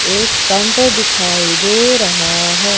एक काउंटर दिखाई दे रहा है।